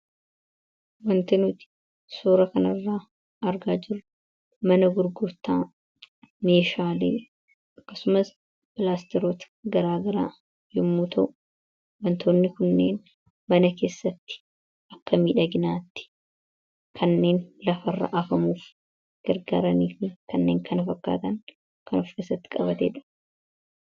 Wanti nuti suura kana irratti argaa jirru mana gurgurtaa fi kanneen kana fakkaatani dha.